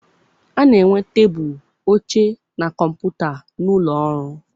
A na-enwe tebụl, oche, na kọmputa n'ụlọ ọrụ.